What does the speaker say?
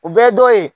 O bɛɛ dɔ ye